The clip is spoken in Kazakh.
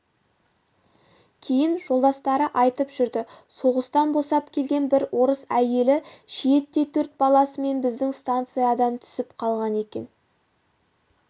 кейін жолдастары айтып жүрді соғыстан босап келген бір орыс әйелі шиеттей төрт баласымен біздің станциядан түсіп қалған екен